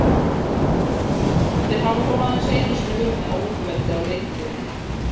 Þeir hafa þó aðeins einu sinni unnið á útivelli á leiktíðinni.